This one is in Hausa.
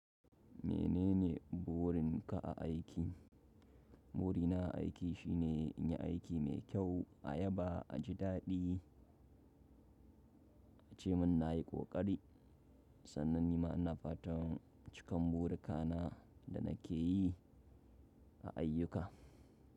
Menene burin ka a aiki? Burina a aiki shi ne in yi aiki mai kyau a yaba, a ji daɗi, a ce min na yi ƙoƙari. Sannan ni ma ina fatan cikan buri ka na da nake yi a ayyuka.